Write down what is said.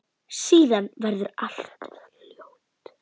Síðan verður allt hljótt.